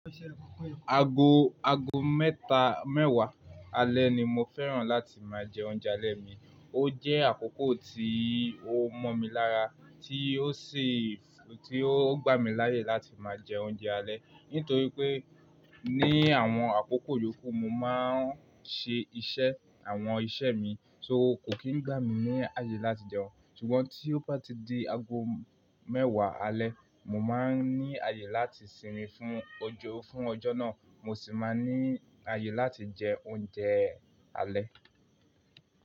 Ago, ago mẹ́ta mẹ́wàá alẹ́ ni mo fẹ́ràn láti máa jẹ oúnjẹ alẹ́ mi. Ó jẹ́ àkókò tí ó mọ mí lára, tí ó sì, tí ó gbà mí láyè láti máa jẹ oúnjẹ alẹ́. Nítorí pé ní àwọn àkókò yókù mo máa ń ṣe iṣẹ́, àwọn iṣẹ́ mi, so kò kí ń gbà mí ní àyè láti jẹun. Ṣùgbọ́n tí ó bá ti di ago mẹ́wàá alẹ́, mo máa ń ní àyè láti sinmi fún ojo, fún ọjọ́ náà, mo sì máa ní àyè láti jẹ oúnjẹ alẹ́.